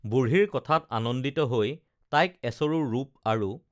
বুঢ়ীৰ কথাত আনন্দিত হৈ তাইক এচৰু ৰূপ আৰু